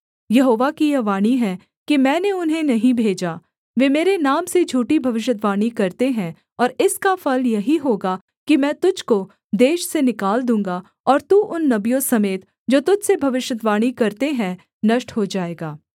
यहोवा की यह वाणी है कि मैंने उन्हें नहीं भेजा वे मेरे नाम से झूठी भविष्यद्वाणी करते हैं और इसका फल यही होगा कि मैं तुझको देश से निकाल दूँगा और तू उन नबियों समेत जो तुझ से भविष्यद्वाणी करते हैं नष्ट हो जाएगा